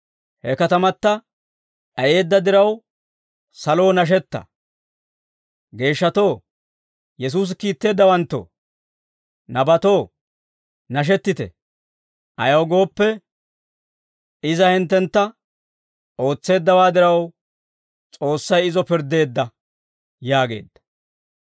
He katamata d'ayeedda diraw, saloo, nashetta! Geeshshatoo, Yesuusi kiitteeddawanttoo, nabatoo, nashettite! Ayaw gooppe, iza hinttentta ootseeddawaa diraw, S'oossay izo pirddeedda» yaageedda.